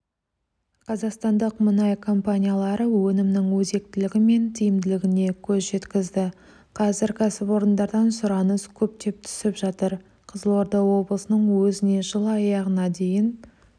қазақстандық мұнай компаниялары өнімнің өзектілігі мен тиімділігіне көз жеткізді қазір кәсіпорындардан сұраныс көптеп түсіп жатыр қызылорда облысының өзіне жыл аяғына дейін